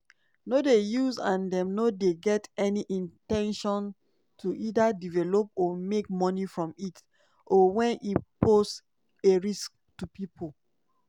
no dey use and dem no get any in ten tion to either develop or make money from it or wen e pose a risk to pipo.